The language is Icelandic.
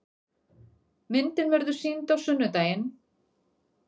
Myndin verður sýnd á sunnudaginn.